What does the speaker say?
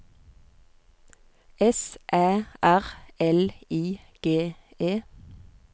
S Æ R L I G E